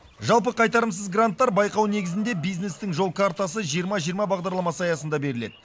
жалпы қайтарымсыз гранттар байқау негізінде бизнестің жол картасы жиырма жиырма бағдарламасы аясында беріледі